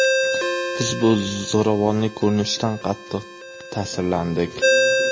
Biz bu zo‘ravonlik ko‘rinishidan qattiq ta’sirlandik.